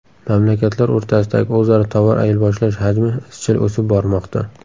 Mamlakatlar o‘rtasidagi o‘zaro tovar ayirboshlash hajmi izchil o‘sib bormoqda.